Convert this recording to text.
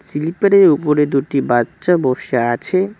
স্লিপারের উপরে দুটি বাচ্চা বসে আছে।